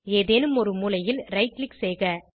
ஏதேனும் ஒரு மூலையில் ரைட் க்ளிக் செய்க